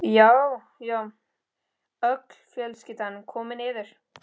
Já, já, öll fjölskyldan komin niður!